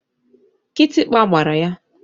Kịtịkpa gbara ya.